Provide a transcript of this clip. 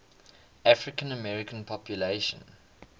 african american population